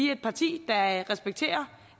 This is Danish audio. er et parti der respekterer